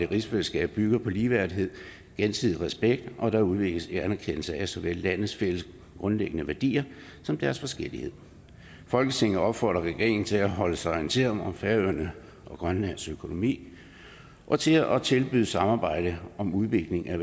rigsfællesskabet bygger på ligeværdighed og gensidig respekt og at det udvikles i anerkendelse af såvel landenes fælles grundlæggende værdier som deres forskellighed folketinget opfordrer regeringen til at holde sig orienteret om færøernes og grønlands økonomi og til at tilbyde samarbejde om udvikling af